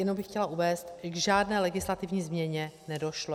Jen bych chtěla uvést, že k žádné legislativní změně nedošlo.